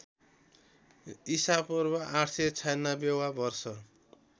ईपू ८९६ वा वर्ष